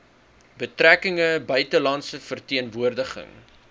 betrekkinge buitelandse verteenwoordiging